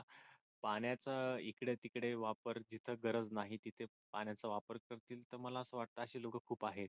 पाण्याच इकडे तिकडे वापर जिथ गरज नाही तिथ पाण्याचा वापर करतील तर मला आस वाटत अशी लोक खूप आहेत.